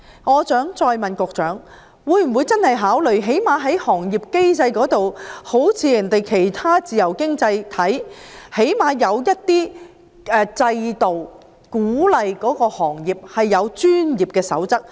我想再問局長，會否考慮最少在行業機制方面，像其他自由經濟體般設立某些制度，鼓勵有關行業訂定專業守則？